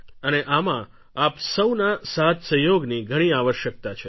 અને આમાં આપ સૌના સાથસહયોગની ઘણી આવશ્યકતા છે